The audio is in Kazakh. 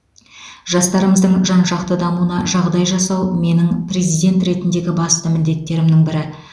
жастарымыздың жан жақты дамуына жағдай жасау менің президент ретіндегі басты міндеттерімнің бірі